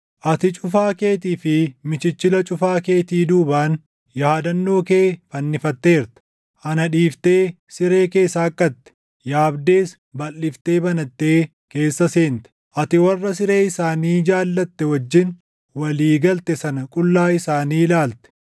Ati cufaa keetii fi michichila cufaa keetii duubaan, yaadannoo kee fannifatteerta. Ana dhiiftee siree kee saaqqatte; yaabdees balʼiftee banattee keessa seente; ati warra siree isaanii jaallatte wajjin walii galte sana qullaa isaanii ilaalte.